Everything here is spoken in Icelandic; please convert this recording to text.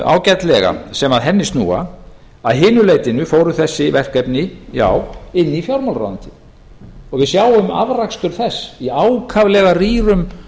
ágætlega sem að henni snúa að hinu leytinu fóru þessi verkefni já inn í fjármálaráðuneytið við sjáum afrakstur þess í ákaflega rýrum